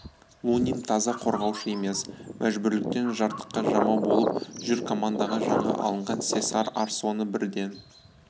лунин таза қорғаушы емес мәжбүрліктен жыртыққа жамау болып жүр командаға жаңа алынған сесар арсоны бірден